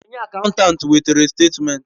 Onye akantant wetere statimenti